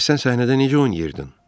Bəs sən səhnədə necə oynayırdın?